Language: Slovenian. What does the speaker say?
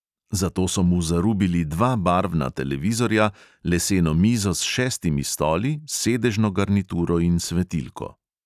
Zato so mu zarubili dva barvna televizorja, leseno mizo s šestimi stoli, sedežno garnituro in svetilko.